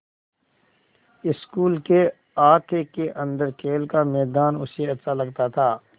school के अहाते के अन्दर खेल का मैदान उसे अच्छा लगता था